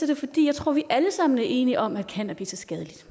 det fordi jeg tror vi alle sammen er enige om at cannabis er skadeligt